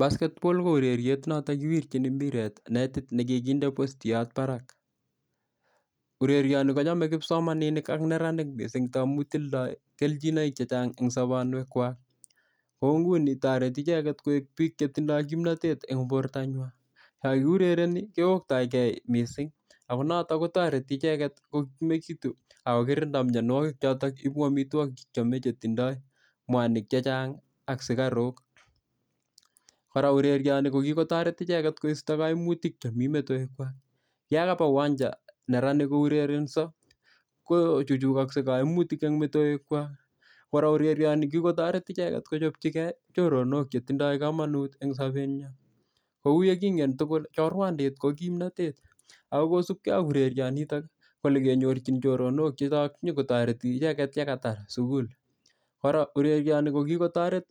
basketball koureriet noton kiwirchini mpiret netit nekikinde postiyot barak urerioni kochome kipsomaninik ak neranik mising tamun tindoi kelchinoik chechang en sponwek kwak kouni toreti icheget koik biik chetindoi kimnatet en bortanywan yokiurereni kioktokee mising ako notok kotoreti icheget kokimekitu ako kirikto mionwokik chotok cheipu amitwokik chekiome chetindo mwanik chechang ak sukaruk kora urerioni koki kotoret icheget koisto koimutik chemi metoek kwak yoon kakopa uwancha neranik kurerenso kochuchukokse koimutik en metoek kwak kora urerioni kikotoret icheget kochopchi choronok chetinye kamonut en sopet kou yekingen tugul chorwandit ko kimnotet akosupkee ak urerionitok olekenyorchin choronok che nyoko toreti icheket yekatar sugul kora urerioni kokikotoret